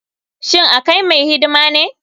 Shin akai mai hidima ne.